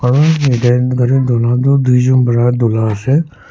para donu toh duijon para dulai ase.